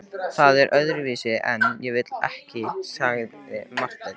Það er öðruvísi en ég vil, sagði Marteinn.